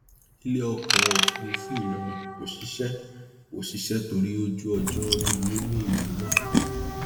ilé ọkọ òfúrufú ilorin kò ṣiṣẹ kò ṣiṣẹ torí ojúọjọ búburú ní ìlú náà